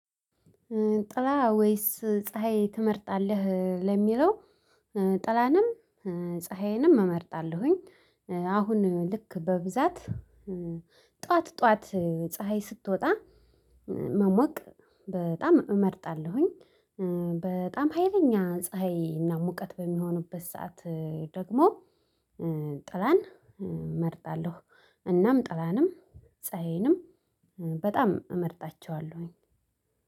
ጥላ ወይስ ፀሀይ ትመርጣለህ ለሚለው? ጥላንም ፀሀይንም እመርጣለሁኝ። አሁን ልክ በብዛት ጠዋት ጠዋት ፀሀይ ስትወጣ መሞቅ በጣም እመርጣለሁኝ። በጣም ሀይለኛ ፀሀይ እና ሙቀት በሚሆኑበት ሰዓት ደግሞ ጥላን እመርጣለሁ። እናም ጥላንም ፀሀዬንም በጣም እመርጣቸዋለሁኝ።